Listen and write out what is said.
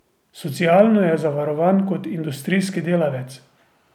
Socialno je zavarovan kot industrijski delavec.